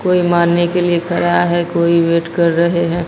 कोई मानने के लिए करा है कोई वेट कर रहे हैं।